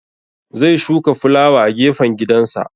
Zai shuka fulawa a gefen gidansa